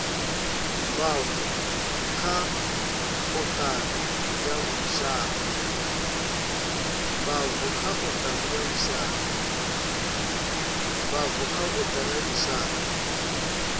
bvaho kha othari ya lushaka